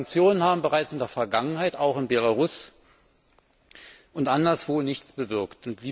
Sanktionen haben bereits in der Vergangenheit auch in Belarus und anderswo nichts bewirkt.